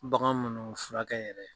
Bagan minnu furakɛ yɛrɛ